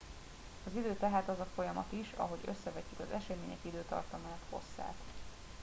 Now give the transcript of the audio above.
az idő tehát az a folyamat is ahogy összevetjük az események időtartamát hosszát